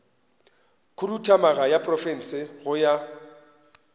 khuduthamaga ya profense go ya